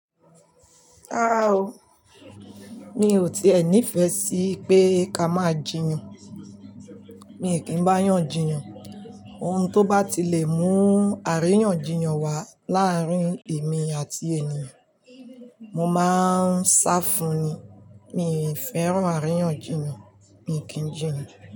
Rara o, mi ò tí è ní ìfẹ́ sí pé ká máa jiyàn. Mi n kí ń báyen jiyàn. Ohun tó bá ti lè mú àríyànjiyàn wá láàárín èmi àti ènìyàn, mo máa ń sá fún ní. Mi ò fẹ́ràn àríyànjiyàn, mi n kí ń jiyàn.